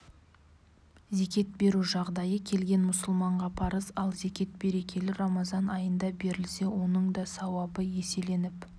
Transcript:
зекет беру жағдайы келген мұсылманға парыз ал зекет берекелі рамазан айында берілсе оның да сауабы еселеніп